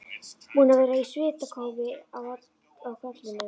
Búin að vera í svitakófi á kollinum.